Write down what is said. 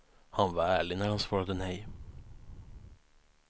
Han var ärlig när han svarade nej.